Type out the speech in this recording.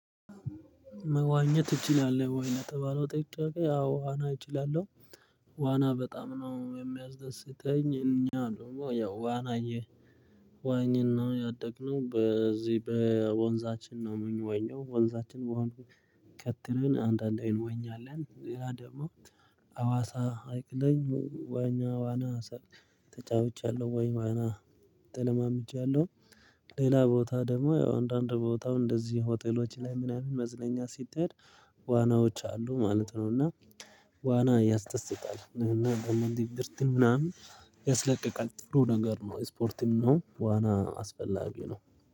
መዋኘት እችላለሁ ወይ? ለተባለው ጥያቂ አዎ አና እችላለሁ። ዋና በጣም ነው የሚያስደስተኝ እኛ ደግሞ ያው ዋና ዬ የዋኘን ነው ያደግነው በዚህ በወንዛችን ነው። ምን የምንዋኘው ወንዛችን በሆነ ከተርን አንዳንዴ እንዋኛለን ሌላ ደግሞ አዋሳ ሀይቅ ላይ ዋኘ ዋና ሰርተህ ተጫውቻለሁ ወይ ዋና ተለማምጃለሁ። ሌላ ቦታ ደግሞ ያው አንዳንድ ቦታ እንደዚህ ሆቴሎች ላይ ምናምን መዝናኛ ሲትሄድ ዋናዎች አሉ ማለት ነው። እና ዋና ያስደታል እና ለምን ድብርትን ምናምን ያስለቀቃል ጥሩ ነገር ነው። ስፖርትም ነው። ዋና አስፈላጊ ነው